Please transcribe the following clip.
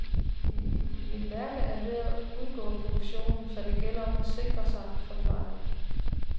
Mit mærke er ved at udgå af produktionen, så det gælder om at sikre sig, forklarer han.